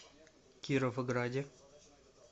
кировграде